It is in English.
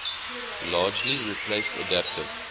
largely replaced adaptive